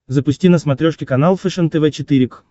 запусти на смотрешке канал фэшен тв четыре к